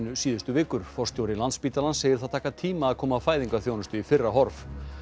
síðustu vikur forstjóri Landspítalans segir það taka tíma að koma fæðingarþjónustu í fyrra horf